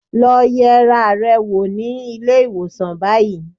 Lọ yẹra rẹ wò ní ilé-ìwọ̀sàn báyìí